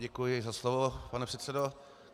Děkuji za slovo, pane předsedo.